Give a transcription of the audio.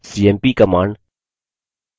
cmp command